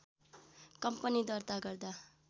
company दर्ता गर्दा